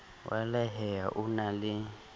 wa lehae o na le